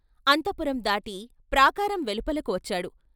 అంతఃపురందాటి ప్రాకారం వెలుపలకు వచ్చాడు.